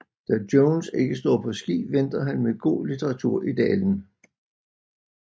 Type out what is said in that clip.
Da Jones ikke står på ski venter han med god litteratur i dalen